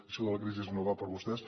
això de la crisi no va per vostès